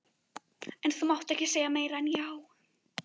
En þú mátt ekki segja meira en já.